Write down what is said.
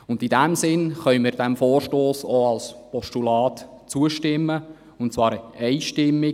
In diesem Sinne können wir diesem Vorstoss auch als Postulat zustimmen, und zwar einstimmig.